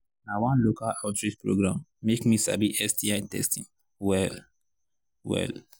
na one local outreach program make me sabi sti testing well well